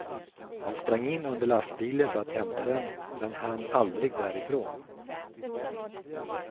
Han sprang in under lastbilen för att hämta den, men hann aldrig därifrån.